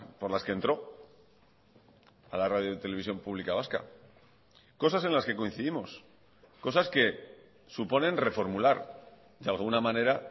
por las que entró a la radio televisión pública vasca cosas en las que coincidimos cosas que suponen reformular de alguna manera